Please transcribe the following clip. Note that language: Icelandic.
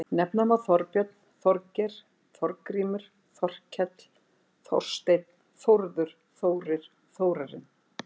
Nefna má Þorbjörn, Þorgeir, Þorgrímur, Þorkell, Þorsteinn, Þórður, Þórir, Þórarinn.